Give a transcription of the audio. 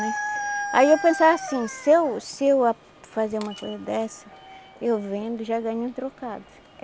Aí eu pensava assim, se eu se eu fazer uma coisa dessa, eu vendo já ganho um trocado.